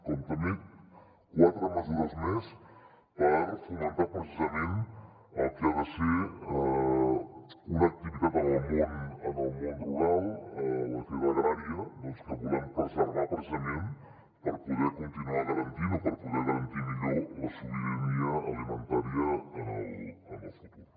com també quatre mesures més per fomentar precisament el que ha de ser una activitat en el món rural l’activitat agrària que volem preservar precisament per poder continuar garantint o per poder garantir millor la sobirania alimentària en el futur